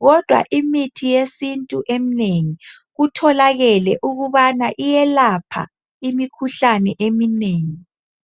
kodwa imithi yesintu eminengi kutholakele ukubana iyelapha imikhuhlane eminengi.